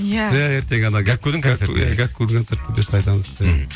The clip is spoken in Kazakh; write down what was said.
иә ертең ана гәккудің концерті гәккудің концерті бұйырса айтамыз мхм